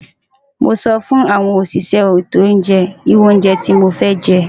Mo so fun awon osise eto ounje ni oru ounje ti mofe je.